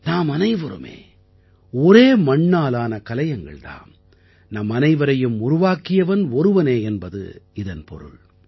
நாமனைவருமே ஒரே மண்ணாலான கலயங்கள் தாம் நம்மனைவரையும் உருவாக்கியவன் ஒருவனே என்பதே இதன் பொருள்